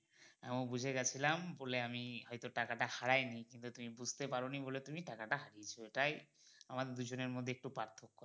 আমি বুঝে গেছিলাম বলে আমি হয়তো টাকা টা হারাই নি কিন্তু তুমি বুঝতে পারোনি বলে টাকা টা হারিয়েছো এটাই আমাদের দুজনের মধ্যে একটু পার্থক্য